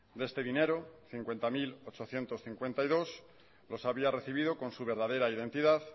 de este dinero cincuenta mil ochocientos cincuenta y dos los había recibido con su verdadera identidad